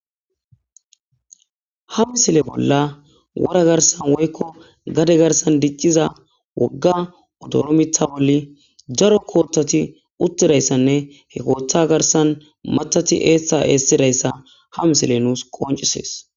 ha misile bolla wora garsan woykko gade garsan dicciza wogga odoro mitha bolli daro koottati uttirayssanne he kootha garsan matati eethsa eessirayssa ha misile nuus qoncisees